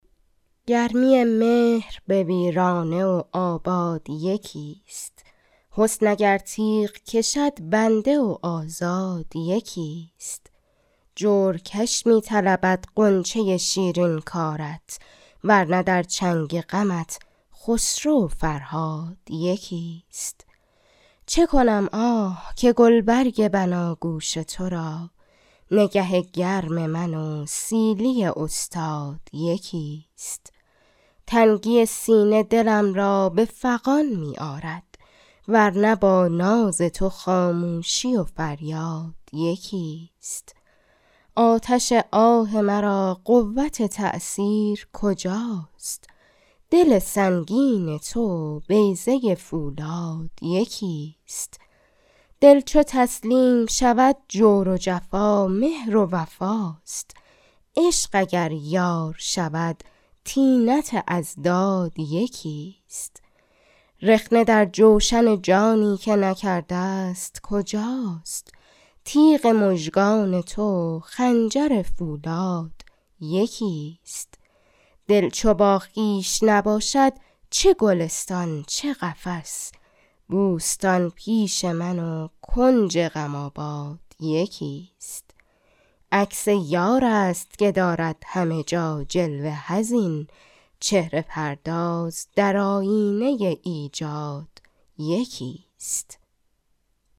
گرمی مهر به ویرانه و آباد یکی ست حسن اگر تیغ کشد بنده و آزاد یکی ست جور کش می طلبد غنچه شیرین کارت ور نه در چنگ غمت خسرو و فرهاد یکی ست چه کنم آه که گلبرگ بناگوش تو را نگه گرم من و سیلی استاد یکی ست تنگی سینه دلم را به فغان می آرد ور نه با ناز تو خاموشی و فریاد یکی ست آتش آه مرا قوت تأثیر کجاست دل سنگین تو و بیضه فولاد یکی ست دل چو تسلیم شود جور و جفا مهر و وفاست عشق اگر یار شود طینت اضداد یکیست رخنه در جوشن جانی که نکرده ست کجاست تیغ مژگان تو و خنجر فولاد یکیست دل چو با خویش نباشد چه گلستان چه قفس بوستان پیش من وکنج غم آباد یکیست عکس یار است که دارد همه جا جلوه حزین چهره پرداز در آیینه ایجاد یکی ست